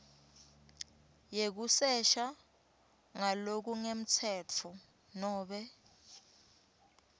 yekusesha ngalokungemtsetfo nobe